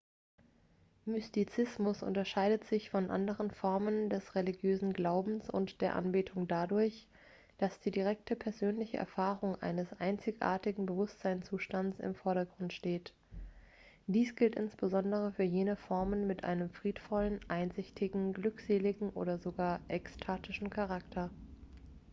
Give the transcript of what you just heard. mystizismus unterscheidet sich von anderen formen des religiösen glaubens und der anbetung dadurch dass die direkte persönliche erfahrung eines einzigartigen bewusstseinszustands im vordergrund steht dies gilt insbesondere für jene formen mit einem friedvollen einsichtigen glückseligen oder sogar ekstatischen charakter